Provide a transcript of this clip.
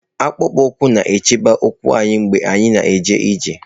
Akpụkpọ ụkwụ na-echebe ụkwụ anyị mgbe anyị na-eje ije.